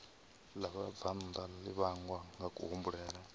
ḽa vhabvannḓa ḽi vhangwa ngakuhumbulele